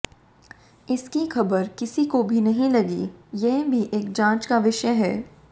इसकी खबर किसी को भी नहीं लगी यह भी एक जांच का विषय है